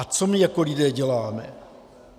A co my jako lidé děláme?